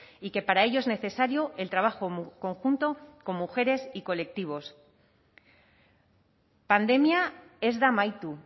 y que para ello es necesario el trabajo conjunto con mujeres y colectivos pandemia ez da amaitu